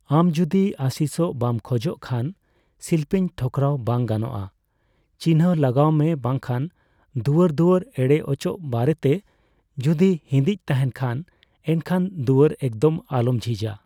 ᱟᱢ ᱡᱚᱫᱤ ᱟᱹᱥᱤᱥᱚᱜ ᱵᱟᱢ ᱠᱷᱚᱡᱚᱜ ᱠᱷᱟᱱ, ᱥᱤᱞᱯᱤᱧ ᱴᱷᱚᱠᱨᱟᱣ ᱵᱟᱝ ᱜᱟᱱᱚᱜᱼᱟ' ᱪᱤᱱᱦᱟᱹ ᱞᱟᱜᱟᱣ ᱢᱮ ᱵᱟᱝᱠᱷᱟᱱ ᱫᱩᱣᱟᱹᱨᱼᱫᱩᱣᱟᱹᱨ ᱮᱲᱮ ᱚᱪᱚᱠ ᱵᱟᱨᱮᱛᱮ ᱡᱚᱫᱤ ᱤᱸᱫᱤᱡᱽ ᱛᱟᱦᱮᱸᱱ ᱠᱷᱟᱱ, ᱮᱱᱠᱷᱟᱱ ᱫᱩᱣᱟᱹᱨ ᱮᱠᱫᱚᱢ ᱟᱞᱚᱢ ᱡᱷᱤᱡᱼᱟ ᱾